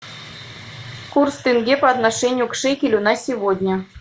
курс тенге по отношению к шекелю на сегодня